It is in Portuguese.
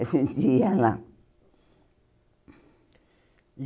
A gente ia lá.